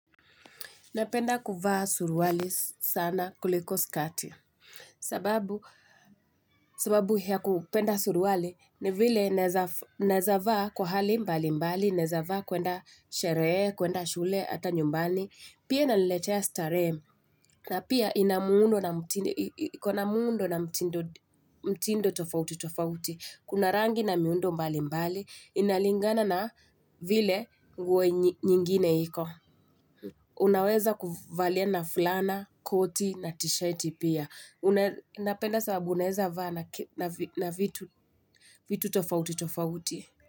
Napenda kuvaa suruali sana kuliko skati. Sababu ya kupenda suruali ni vile naeza vaa kwa hali mbali mbali, naeza vaa kuenda sherehe, kuenda shule, hata nyumbani. Pia inaniletea starehe, na pia ina muundo na mtindo tofauti tofauti. Kuna rangi na miundo mbali mbali, inalingana na vile nguo nyingine iko. Unaweza kuvalia na fulana, koti na tishati pia. Napenda sababu naweza vaa na vitu vitu tofauti tofauti.